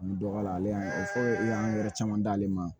An bɛ dɔ k'a la ale y'a fɔ i y'an hɛrɛ caman d'ale ma